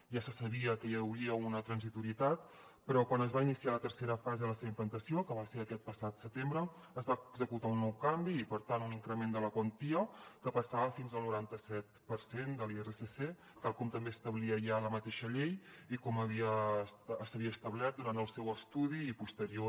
ja se sabia que hi hauria una transitorietat però quan es va iniciar la tercera fase de la seva implantació que va ser aquest passat setembre es va executar un nou canvi i per tant un increment de la quantia que passava fins al noranta set per cent de l’irsc tal com també establia ja la mateixa llei i com s’havia establert durant el seu estudi i posterior